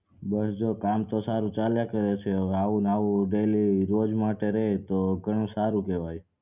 બસ જો કામ તો જો સારું ચાલ્યા કરે છે આવું ને આવું daily રોજ માટે રહે એ તો ઘણું સારું કેવાય